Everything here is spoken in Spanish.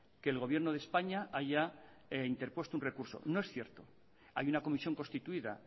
que el gobierno de españa haya interpuesto un recurso no es cierto hay una comisión constituida